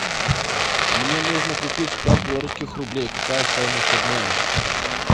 мне нужно купить пять белорусских рублей какая стоимость обмена